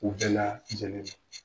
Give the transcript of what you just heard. U bɛɛ laajɛlen ma